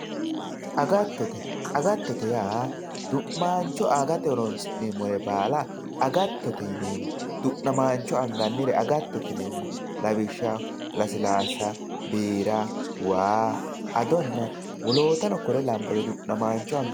agattote agattote yaa du'namaancho agate horonsi'neemore baala agattote yineemo du'namaancho anganire agattote yineemo lawishshaho lasilaasa, biira, waa, adonna wolootano kore labbanno du'namaancho agatto.